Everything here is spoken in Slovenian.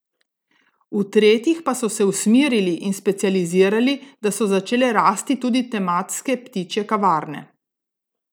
V tretjih pa so se usmerili in specializirali, da so začele rasti tudi tematske ptičje kavarne.